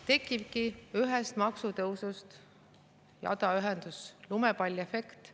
Tekibki ühest maksutõusust jadaühendus, lumepalliefekt.